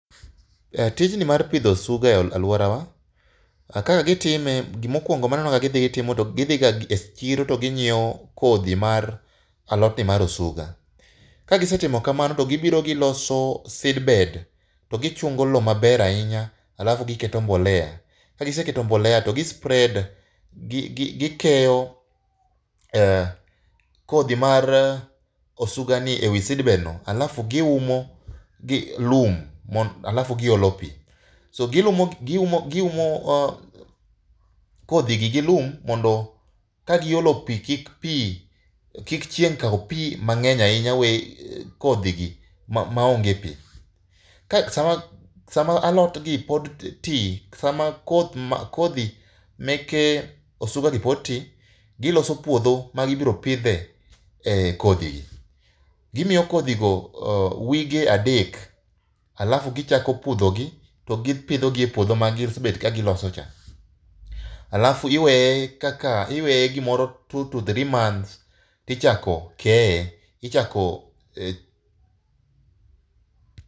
Tijni mar pidho osuga e alworawa ,ka gitime, gimokwongo manenoga gidhi gitimo to gidhiga e chiro to ginyiewo kodhi mar alotni mar osuga. Kagisetimo kamano togibiro togiloso seedbed, to gi chungo lowo maber ahinya, alafu giketo mbolea, kagiseketo mbolea to gi spread, gikeyo mar osugani e wi seedbeg no alafu giumo gi lum alafu giolo pi. Giumo kodhigi gi lum mondo kagilo pi, kik chieng' kaw pi mang'eny ahinya we kodhigi maonge pi. Sama alotgi pod ti, sama kodhi meke osugagi pod ti, giloso puodho magibiro pidhe kodhigi. Gimiyo kodhigo wige adek alafu gichako pudhogi to gipidhogi e puodho magisebet kagilosocha. Alafu iweye gimoro two to three months tichako keye, ichako .